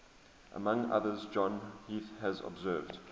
among others john heath has observed